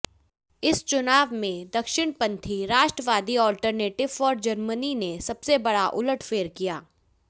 इस चुनाव में दक्षिणपंथी राष्ट्रवादी अल्टरनेटिव फॉर जर्मनी ने सबसे बड़ा उलटफेर किया